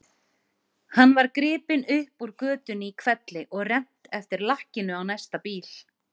Hann var gripinn upp úr götunni í hvelli og rennt eftir lakkinu á næsta bíl.